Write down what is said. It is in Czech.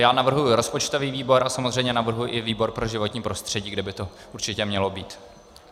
Já navrhuji rozpočtový výbor a samozřejmě navrhuji i výbor pro životní prostředí, kde by to určitě mělo být.